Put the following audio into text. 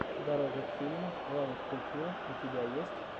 дорога к фильму роуд ту филм у тебя есть